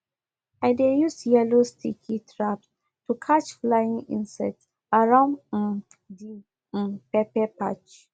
i dey use yellow sticky traps to catch flying insects around um the um pepper patch